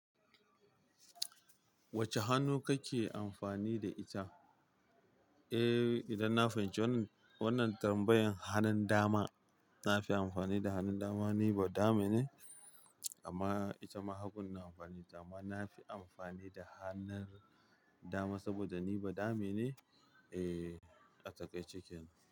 Wacce hannu kake amfani da ita? Eh, idan na fahimci wannan, wannan tambayan hanun dama. Na fi amfani da hannun dama. Ni ba dame ne, amma ita ma hagun amfani da ma na fi amfani da hannun dama saboda ni ba dame ne. Eh, ka taka cikin.